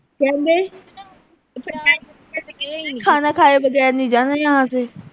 ਖਾਣਾ ਖਾਏ ਵਗੈਰ ਨੀਂ ਜਾਨਾ ਜਹਾਂ ਸੇ